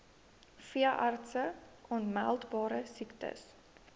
veeartse aanmeldbare siektes